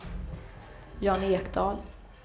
Jan Ekdahl